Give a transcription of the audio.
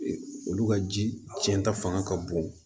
Olu ka ji cɛnta fanga ka bon